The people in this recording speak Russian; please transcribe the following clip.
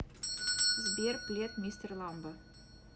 сбер плед мистер ламбо